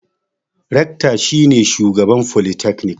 Rekta shi ne shugaban folitaknik.